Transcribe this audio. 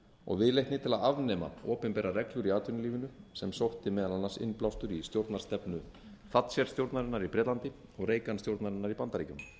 og viðleitni til að afnema opinberar reglur í atvinnulífinu sem sótti meðal annars innblástur í stjórnarstefnu thatcher stjórnarinnar í bretlandi og reagan stjórnarinnar í bandaríkjunum með